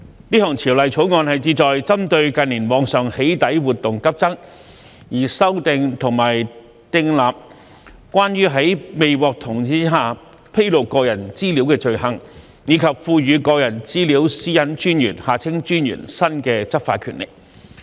這項條例草案旨在針對近年網上"起底"活動急增，修訂和訂立關於在未獲同意下披露個人資料的罪行，以及賦予個人資料私隱專員新的執法權力。